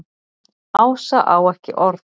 Ása á ekki orð.